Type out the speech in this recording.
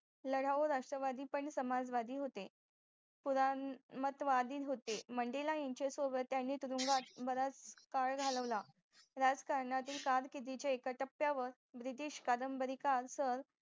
लढाऊ राष्ट्रवादी पण समाजवादी होते पुराणमत वादी होते monday यांच्या सोबत त्यानी तुरुंगात बराच काळ घालवला राजकारणातील काम एका टप्यावर british कादंबरी काळ